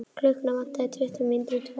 Klukkuna vantaði tuttugu mínútur í tvö.